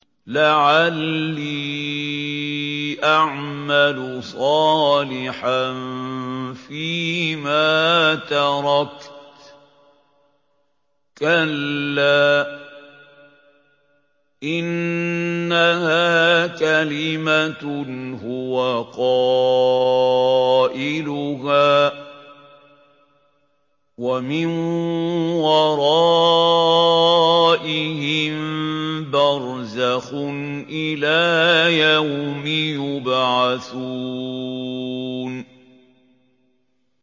لَعَلِّي أَعْمَلُ صَالِحًا فِيمَا تَرَكْتُ ۚ كَلَّا ۚ إِنَّهَا كَلِمَةٌ هُوَ قَائِلُهَا ۖ وَمِن وَرَائِهِم بَرْزَخٌ إِلَىٰ يَوْمِ يُبْعَثُونَ